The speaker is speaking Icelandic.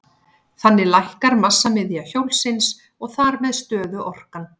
Þannig lækkar massamiðja hjólsins og þar með stöðuorkan.